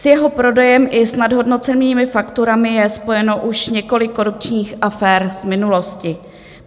S jeho prodejem i s nadhodnocenými fakturami je spojeno už několik korupčních afér z minulosti.